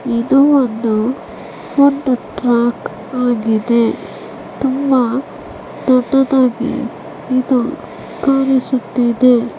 ಇದು ಒಂದು food track ಆಗಿದೆ ತುಂಬಾ ದೊಡ್ಡದಾಗಿ ಇದು ಕಾಣಿಸುತ್ತಿದೆ .